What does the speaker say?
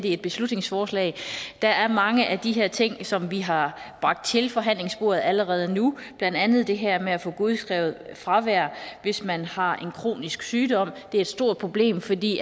et beslutningsforslag der er mange af de her ting som vi har bragt til forhandlingsbordet allerede nu blandt andet det her med at få godskrevet fravær hvis man har en kronisk sygdom det er et stort problem fordi